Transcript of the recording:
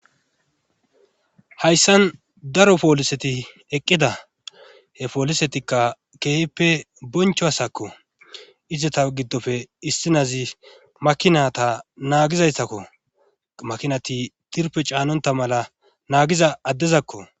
hayssan daro pooliseti eqqida he poolisetikka keehippe boncho hasakko izeta giddofe issinazi makinata naagizayssakko makinati tirpe caanonta mala naagiza addezakko